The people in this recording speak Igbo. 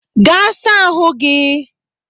Gaa saa ahụ gị!